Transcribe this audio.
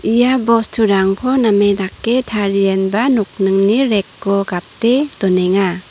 ia bosturangko name dake tarienba nokningni rek o gate donenga.